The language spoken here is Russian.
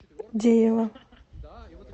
деева